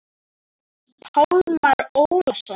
Pálmar Ólason.